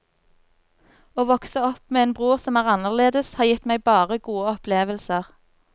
Å vokse opp med en bror som er anderledes har gitt meg bare gode opplevelser.